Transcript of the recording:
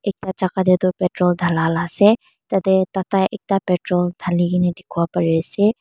ena jaka te tu petrol dhala la ase tate tata ekta petrol dhali kene dikhi wo pari ase.